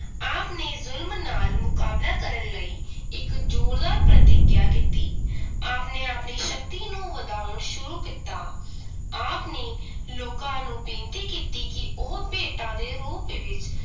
ਆਪ ਨੇ ਜ਼ੁਲਮ ਨਾਲ ਮੁਕਾਬਲਾ ਕਰਨ ਲਈ ਇਕ ਜ਼ੋਰਦਾਰ ਪ੍ਰੀਤਿਗ੍ਯਾ ਕੀਤੀ ਆਪ ਨੇ ਆਪਣੀ ਸ਼ਕਤੀ ਨੂੰ ਵਧਾਉਣ ਸ਼ੁਰੂ ਕੀਤਾ ਆਪ ਨੇ ਲੋਕਾਂ ਨੂੰ ਬੇਨਤੀ ਕੀਤੀ ਕਿ ਉਹ ਭੇਟਾਂ ਦੇ ਰੂਪ ਵਿਚ